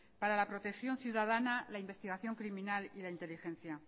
para la protección ciudadana la investigación criminal y la inteligencia